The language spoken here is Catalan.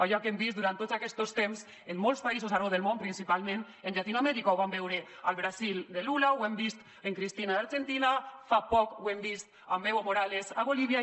allò que hem vist durant tots aquestos temps en molts països arreu del món principalment a llatinoamèrica ho vam veure al brasil de lula ho hem vist amb cristina a l’argentina fa poc ho hem vist amb evo morales a bolívia